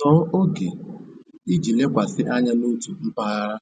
Tọọ oge iji lekwasị anya n'otu mpaghara